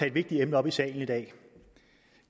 et vigtigt emne op i salen i dag